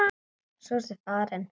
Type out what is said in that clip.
Svo varstu farinn.